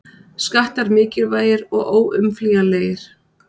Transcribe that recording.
Skattar mikilvægir og óumflýjanlegir